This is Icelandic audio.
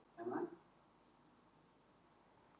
Sumum finnast bein falleg og nota þau til skrauts heima hjá sér.